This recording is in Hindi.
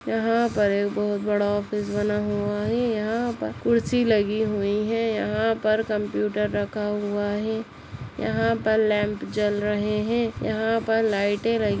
यहाँ पर एक बहुत बड़ा ऑफिस बना हुआ है यहाँ पर कुर्सी लगी हुई है यहाँ पर कंप्युटर रखा हुआ है यहाँ पर लैम्प जल रहे हैं। यहाँ पर लाइटें लगी--